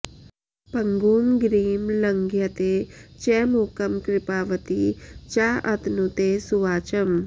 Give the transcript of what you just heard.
पङ्गुं गिरिं लङ्घयते च मूकं कृपावती चाऽतनुते सुवाचम्